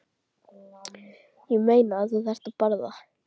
Ég meina, þú þarft að borða